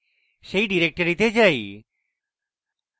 সেই ডাইরেক্টরিতে যাই